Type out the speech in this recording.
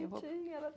Ai, que bonitinha! Ela